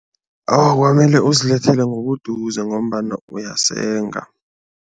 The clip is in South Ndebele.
Awa, kwamele uzilethele ngobuduze ngombana uyasenga.